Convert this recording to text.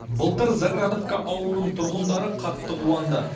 былтыр заградовка ауылының тұрғындары қатты қуанды